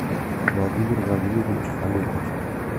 владимир владимирович фалетов